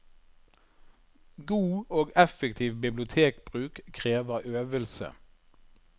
God og effektiv bibliotekbruk krever øvelse.